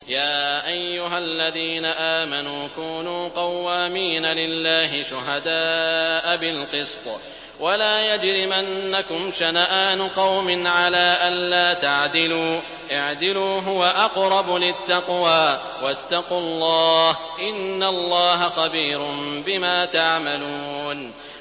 يَا أَيُّهَا الَّذِينَ آمَنُوا كُونُوا قَوَّامِينَ لِلَّهِ شُهَدَاءَ بِالْقِسْطِ ۖ وَلَا يَجْرِمَنَّكُمْ شَنَآنُ قَوْمٍ عَلَىٰ أَلَّا تَعْدِلُوا ۚ اعْدِلُوا هُوَ أَقْرَبُ لِلتَّقْوَىٰ ۖ وَاتَّقُوا اللَّهَ ۚ إِنَّ اللَّهَ خَبِيرٌ بِمَا تَعْمَلُونَ